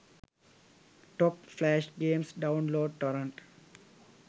top flash games download torrent